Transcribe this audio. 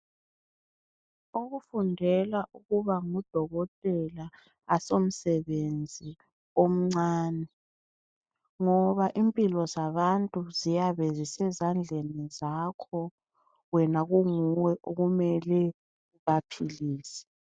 Ukufundela ukuba ngudokotela akusomsebenzi omncane ngoba impilo zabantu ziyabe zisezandleni zakho wena kumele kube nguwe okumele ubasilise.